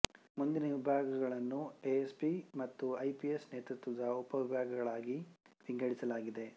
ಮುಂದಿನ ವಿಭಾಗಗಳನ್ನು ಎಎಸ್ಪಿಗಳು ಮತ್ತು ಐಪಿಎಸ್ ನೇತೃತ್ವದ ಉಪ ವಿಭಾಗಗಳಾಗಿ ವಿಂಗಡಿಸಲಾಗಿದೆ